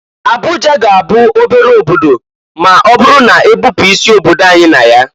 Abuja ga-abụ obere obodo ma ọbụrụ na-ebupu isi obodo anyị na ya.